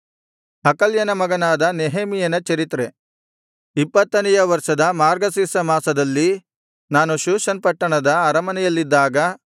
ಹಕಲ್ಯನ ಮಗನಾದ ನೆಹೆಮೀಯನ ಚರಿತ್ರೆ ಇಪ್ಪತ್ತನೆಯ ವರ್ಷದ ಮಾರ್ಗಶಿರ್ಷ ಮಾಸದಲ್ಲಿ ನಾನು ಶೂಷನ್ ಪಟ್ಟಣದ ಅರಮನೆಯಲ್ಲಿದ್ದಾಗ